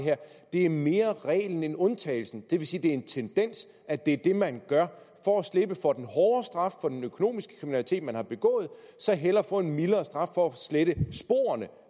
er mere reglen end undtagelsen det vil sige at det er en tendens at det er det man gør for at slippe for den hårde straf for den økonomiske kriminalitet man har begået så hellere få en mildere straf for at slette sporene